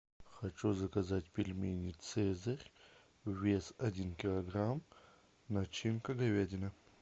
хочу заказать пельмени цезарь вес один килограмм начинка говядина